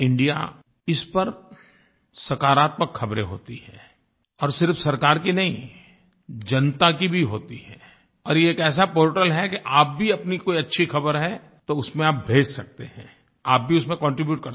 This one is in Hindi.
इस पर सकरात्मक ख़बरें होती हैंI और सिर्फ सरकार की नहीं जनता की भी होती हैं और ये एक ऐसा पोर्टल है कि आप भी अपनी कोई अच्छी ख़बर है तो उसमें आप भेज सकते हैंI आप भी उसमें कॉन्ट्रीब्यूट कर सकते हैं